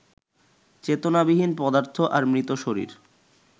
চেতনাবিহীন পদার্থ আর মৃত শরীর